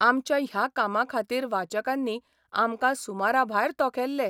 आमच्या ह्या कामाखातीर वाचकांनी आमकां सुमराभायर तोखेल्ले.